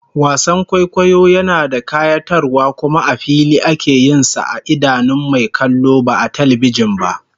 Wasan kwaikwayo yana da kayatarwa kuma a fili ake yin sa a idanun mai kallo ba a talbijin ba